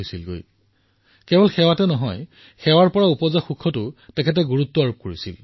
তেওঁ কেৱল সেৱাকেই যে গুৰুত্ব দিছিল এনে নহয় বৰঞ্চ ইয়াৰ সৈতে জড়িত আত্মসুখৰ ওপৰতো গুৰুত্ব দিছিল